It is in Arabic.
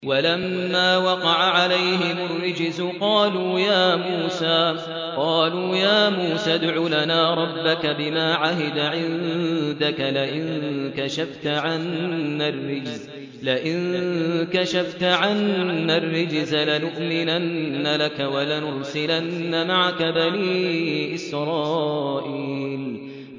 وَلَمَّا وَقَعَ عَلَيْهِمُ الرِّجْزُ قَالُوا يَا مُوسَى ادْعُ لَنَا رَبَّكَ بِمَا عَهِدَ عِندَكَ ۖ لَئِن كَشَفْتَ عَنَّا الرِّجْزَ لَنُؤْمِنَنَّ لَكَ وَلَنُرْسِلَنَّ مَعَكَ بَنِي إِسْرَائِيلَ